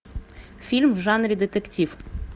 фильм в жанре детектив